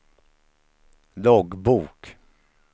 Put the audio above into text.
loggbok